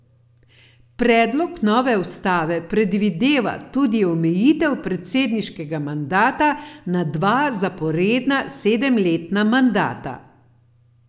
Predlog nove ustave predvideva tudi omejitev predsedniškega mandata na dva zaporedna sedemletna mandata.